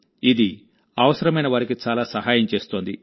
ఇది అవసరమైన వారికి చాలా సహాయం చేస్తోంది